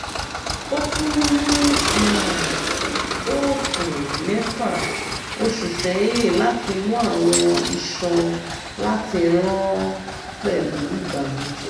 o tun ni a op 6 osu seyin lati mu awọn iṣan lati ran pẹlu ibanujẹ